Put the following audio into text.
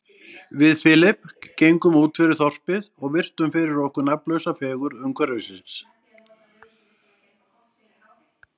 Við Philip gengum útfyrir þorpið og virtum fyrir okkur nafnlausa fegurð umhverfisins.